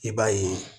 I b'a ye